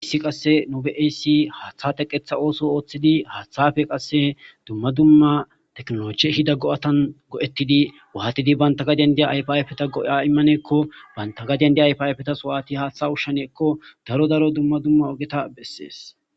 issi qasse nube7eyssi haaththateqetha ooso ooththidi haaththafe qasse dumma dumma teknoloche hida go7atan go7ettidi waatidi banta gadendiya ayfayfeta go7a immaneekko banta gadendi ayfayfetas waati haaththa ushsheneekko daro daro dumma dumma ogeta bessees